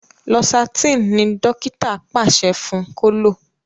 Losartan ní dókítà paṣẹ fún kò lọ.